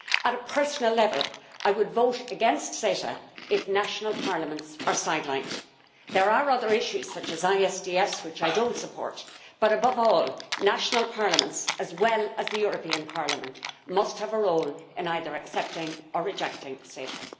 At a personal level, I would vote against CETA if national parliaments are sidelined. There are other issues, such as ISDS, which I do not support, but above all national parliaments, as well as the European Parliament, must have a role in either accepting or rejecting CETA.